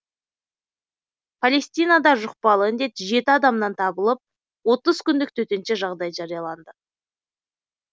палестинада жұқпалы індет жеті адамнан табылып отыз күндік төтенше жағдай жарияланды